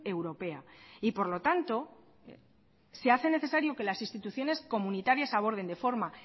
europea y por lo tanto se hace necesario que las instituciones comunitarias aborden de forma